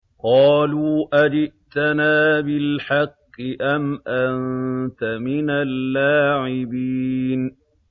قَالُوا أَجِئْتَنَا بِالْحَقِّ أَمْ أَنتَ مِنَ اللَّاعِبِينَ